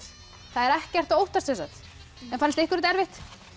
það er ekkert að óttast sem sagt fannst ykkur þetta erfitt